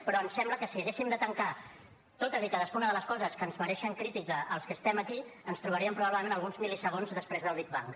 però ens sembla que si haguéssim de tancar totes i cadascuna de les coses que ens mereixen crítica als que estem aquí ens trobaríem probablement alguns mil·lisegons després del big bang